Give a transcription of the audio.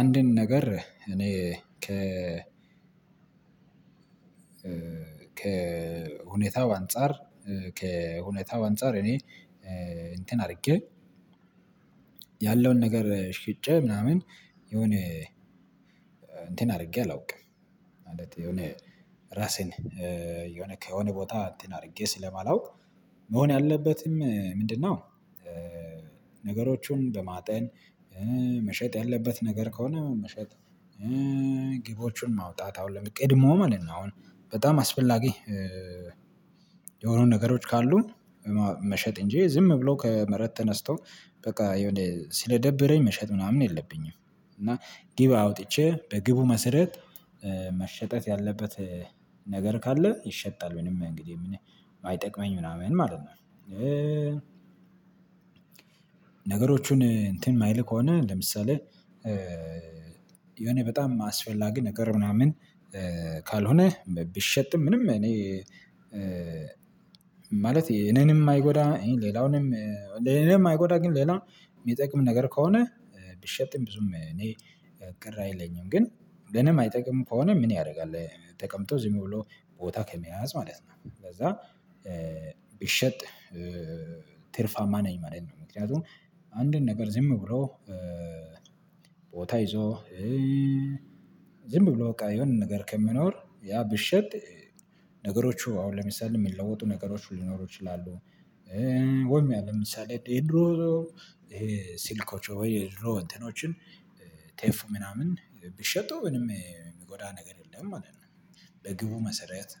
አንድን ነገር እኔ ከ ከሁኔታው አንፃር ከሁኔታው አንፃር እኔ እንትን አድርጌ ያለውን ነገር ሽጭ ምናምን የሆነ እንትን አድርጌ አላውቅም። ማለት የሆነ ራሴን የሆነ ከሆነ ቦታ እንትን አድርጌ ስለማላውቅ መሆን ያለበትም ምንድ ነው? ነገሮቹም በማጤን መሸጥ ያለበት ነገር ከሆነ መሸጥ ግቦችን ማውጣት አሁን ቀድሞ ማለት ነው። አሁን በጣም አስፈላጊ ነገሮች ካሉ መሸጥ እንጂ ዝም ብሎ ከመሬት ተነስቶ በቃ የሆነ ስለደበረኝ መሸጥ ምናምን የለብኝም። እና ግብ አውጥቼ በግቡ መሰረት መሸጥ ያለበት ነገር ካለ ይሸጣል። ምንም እንግዲህ ማይጠቅመኝ ምናምን ማለት ነው። ነገሮቹን እንትን የማይል ከሆነ ለምሳሌ የሆነ በጣም አስፈላጊ ነገር ምናምን ካልሆነ ቢሸጥም ምንም እኔ ማለት እኔንም አይጎዳም። ሌላውንም እኔንም አይጎዳም። ግን ሌላው የሚጠቅም ነገር ከሆነ ቢሸጥም ብዙም እኔ ቅር አይለኝም ግን ለኔም አይጠቅምም ከሆነ ምን ያደርጋል? ተቀምጦ ዝም ብሎ ቦታ ከመያዝ ማለት ነው። ለዛ ቢሸጥ ትርፋማ ነኝ ማለት ነው። ምክንያቱም አንድን ነገር ዝም ብሎ ቦታ ይዞ ዝም ብሎ በቃ የሆነ ነገር ከሚኖር ያ ቢሸጥ ነገሮቹ አሁን ለምሳሌ የሚለወጡ ነገሮች ሊኖሩ ይችላሉ። ወይም ያለ ለምሳሌ ድሮ ይሄ ሲልኮች ወይ ድሮ እንትኖችን ቴፕ ምናምን ቢሸጡ ምንም የሚጎዳ ነገር የለም። ማለት በግቡ መሰረት